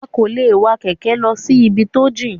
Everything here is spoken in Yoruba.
A kò lè wa kẹ̀kẹ́ lọ sí ibi tó jìn.